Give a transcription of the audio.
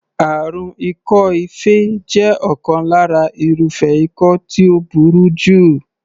Àrùn ikọ́-ife jẹ́ ọ̀kan lára irúfẹ́ ikọ́ tí ó burú jù.